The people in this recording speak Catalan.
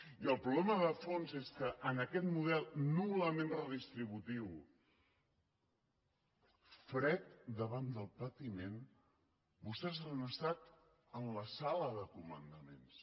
i el problema de fons és que en aquest model nul·lament redistributiu fred davant del patiment vostès han estat en la sala de comandaments